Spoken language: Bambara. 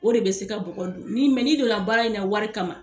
O de be se ka bɔgɔ don ni mɛ ni donna baara in na wari kama